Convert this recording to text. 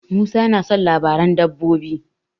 Musa tana son labaran dabbobi.